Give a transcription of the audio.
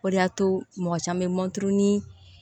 O de y'a to mɔgɔ caman bɛ mɔntɔn ni